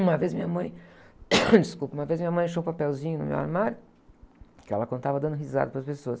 Uma vez minha mãe, desculpe. Uma vez minha mãe achou um papelzinho no meu armário, que ela contava dando risada para as pessoas.